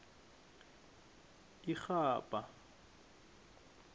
irhabha